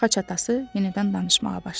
Xaç atası yenidən danışmağa başladı.